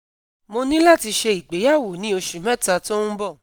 Mo ní láti ṣe ìgbéyàwó ní oṣù mẹ́ta tó ń bọ̀